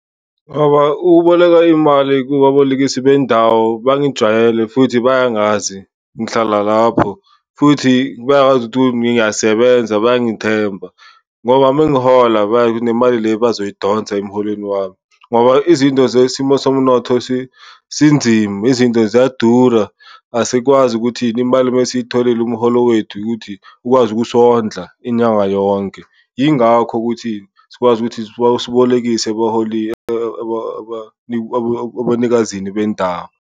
ukuboleka imali kubabolekisi bendawo bangijwayele futhi bayangazi, ngihlala lapho. Futhi bayangazi ukuthi ngiyasebenza, bayangithemba ngoba mangihola bayazi ukuthi nemali le bazoyidonsa emholweni wami ngoba izinto zesimo somnotho sinzima, izinto ziyadura. Asikwazi ukuthini, imali masiyitholile umholo wethu ukuthi ukwazi ukusondla inyanga yonke, yingakho ukuthi sikwazi ukuthi sibolekise ebanikazini bendawo.